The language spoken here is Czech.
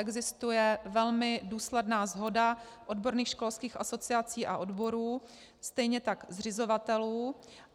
Existuje velmi důsledná shoda odborných školských asociací a odborů, stejně tak zřizovatelů.